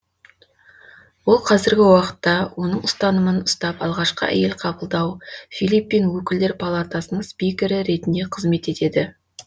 ол қазіргі уақытта оның ұстанымын ұстап алғашқы әйел қабылдау филиппин өкілдер палатасының спикері ретінде қызмет етеді